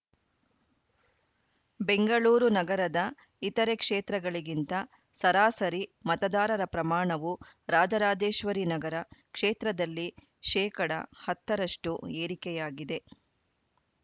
ಬೆಂಗಳೂರು ನಗರದ ಇತರೆ ಕ್ಷೇತ್ರಗಳಿಗಿಂತ ಸರಾಸರಿ ಮತದಾರರ ಪ್ರಮಾಣವು ರಾಜರಾಜೇಶ್ವರಿ ನಗರ ಕ್ಷೇತ್ರದಲ್ಲಿ ಶೇಕಡ ಹತ್ತ ರಷ್ಟುಏರಿಕೆಯಾಗಿದೆ